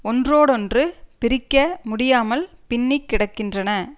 ஒன்றோடொன்று பிரிக்க முடியாமல் பின்னிக் கிடக்கின்றன